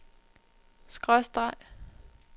skråstreg